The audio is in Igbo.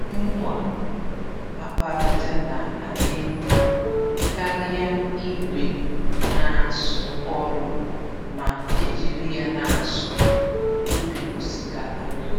mma àkpàràjà ná adị mmá karịa ìgwè n'asụ ọrụ, ma ejiri ya n'asụ ubi osikapa.